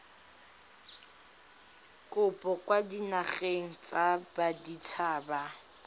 kopo kwa dinageng tsa baditshaba